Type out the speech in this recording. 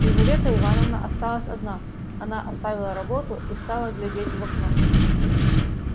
лизавета ивановна осталась одна она оставила работу и стала глядеть в окно